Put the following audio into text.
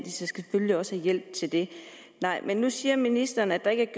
selvfølgelig også have hjælp til det nu siger ministeren at der ikke